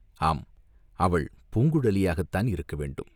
ஆம், அவள் பூங்குழலியாகத்தான் இருக்க வேண்டும்.